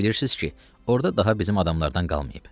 Yaxşı bilirsiz ki, orda daha bizim adamlardan qalmayıb.